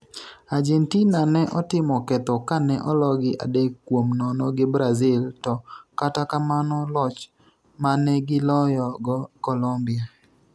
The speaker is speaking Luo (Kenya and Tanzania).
Argentina ne otimo ketho kane ologi adek kuom nono gi Brazil to kata kamano loch manegiloyo go Colombia